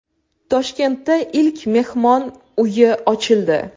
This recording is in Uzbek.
Toshkentda ilk mehmon uyi ochildi.